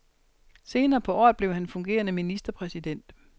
Senere på året blev han fungerende ministerpræsident.